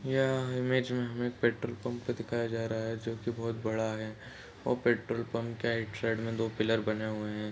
यह इमेज हमें एक पेट्रोल पंप दिखाया जा रहा है जो की बहोत बड़ा है और पेट्रोल पंप के एक साइड में दो पिलर बने हुए हैं।